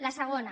la segona